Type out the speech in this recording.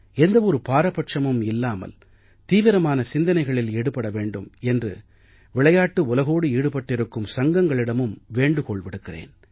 எந்த ஒரு பாரபட்சமும் இல்லாமல் தீவிரமான சிந்தனைகளில் ஈடுபட வேண்டும் என்று விளையாட்டு உலகோடு ஈடுபட்டிருக்கும் சங்கங்களிடமும் வேண்டுகோள் விடுக்கிறேன்